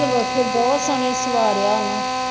ਬਸ ਬਹੁਤ ਸੋਹਣੀ ਸਵਾਰਿਆ ਨਾ